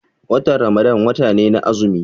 Watan Ramadan wata ne na azumi.